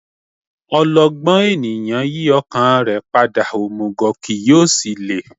Ọlọgbọ́n ènìyàn yí ọkàn rẹ̀ padà, òmùgọ̀ kì yóò ṣe láé